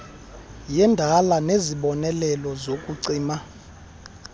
yendala nesibonelelo sokucima